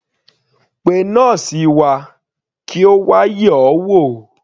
Pé nọ́ọ́sì wa kí Ó wà yẹ̀ ọ́ wò.